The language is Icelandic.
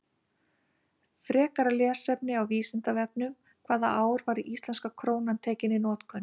Frekara lesefni á Vísindavefnum: Hvaða ár var íslenska krónan tekin í notkun?